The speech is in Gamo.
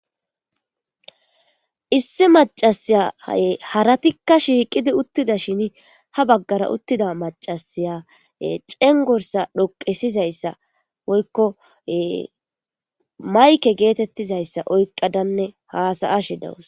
issi macasaya haratikka shiiqidi uttidashin ha baggara uttida macasiya cengorsa dhoqesizayssa woykko mayke geetettizayssa oyqadanne haasa'ashi dawus